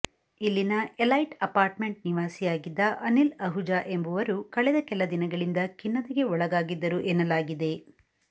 ಇಲ್ಲಿನ elite apartment ನಿವಾಸಿಯಾಗಿದ್ದ ಅನಿಲ್ ಅಹುಜಾ ಎಂಬವರು ಕಳೆದ ಕೆಲ ದಿನಗಳಿಂದ ಖಿನ್ನತೆಗೆ ಒಳಗಾಗಿದ್ದರು ಎನ್ನಲಾಗಿದೆ